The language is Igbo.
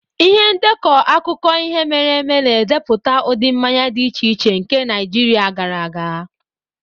Ihe ndekọ akụkọ ihe mere eme na-edepụta ụdị mmanya dị iche iche nke Naijiria gara aga.